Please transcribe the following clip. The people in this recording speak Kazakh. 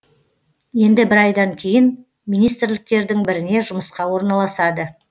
енді бір айдан кейін министрліктердің біріне жұмысқа орналасады